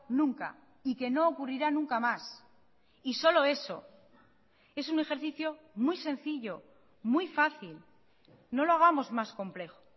nunca y que no ocurrirá nunca más y solo eso es un ejercicio muy sencillo muy fácil no lo hagamos más complejo